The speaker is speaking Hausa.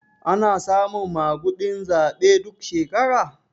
Ana samun maguɗin zaɓe duk shekara?